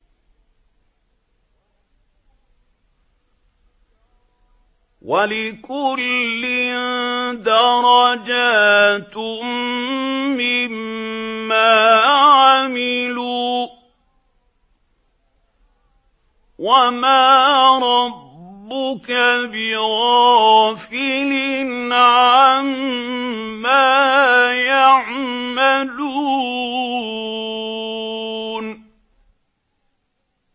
وَلِكُلٍّ دَرَجَاتٌ مِّمَّا عَمِلُوا ۚ وَمَا رَبُّكَ بِغَافِلٍ عَمَّا يَعْمَلُونَ